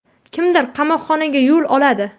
Kimdir qamoqxonga yo‘l oladi.